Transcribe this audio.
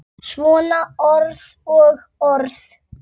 Svona orð og orð.